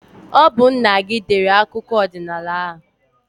Ọ bu nna gị dere akụkọ ọdinaala a